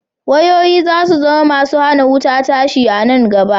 Wayoyi za su zama masu hana wuta tashi a nan gaba.